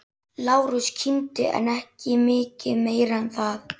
Lárus kímdi en ekki mikið meira en það.